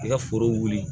I ka foro wuli